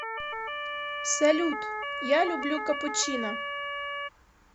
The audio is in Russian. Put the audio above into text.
салют я люблю капучино